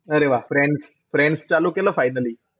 अरे वाह फ्रेंड्स चालू केलं finally?